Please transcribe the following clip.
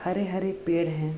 हरे-हरे पेड़ हैं।